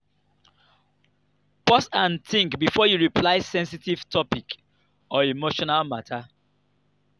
pause and think before you reply sensitive topic or emotional matter